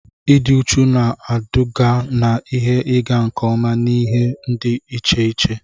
Ịdị uchu na-eduga na ihe ịga nke ọma n'ihe dị iche iche.